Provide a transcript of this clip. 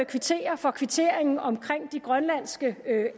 kvittere for kvitteringen om de grønlandske